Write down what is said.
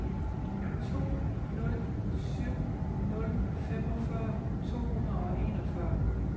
to nul syv nul femogfyrre to hundrede og enogfyrre